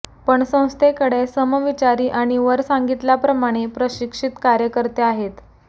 पण संस्थेकडे समविचारी आणि वर सांगितल्याप्रमाणे प्रशिक्षित कार्यकर्ते आहेत